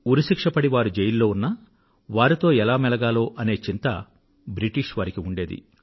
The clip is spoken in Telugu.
ఉరి శిక్ష పడి వారు జైలులో ఉన్నప్పటికీ వారితో ఎలా మెలగాలో అనే చింత బ్రిటిష్ వారికి ఉండేది